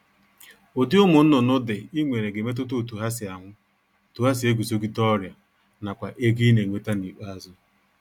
Ụdị ụmụnnụnụ dị I nwere ga-emetụta otu ha si anwụ, otu ha si eguzogide ọrịa nakwa ego I ga-enweta n'ikpeazụ